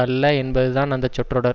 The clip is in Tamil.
அல்ல என்பது தான் அந்த சொற்றொடர்